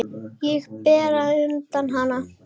Og bera undir hana.